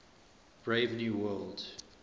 brave new world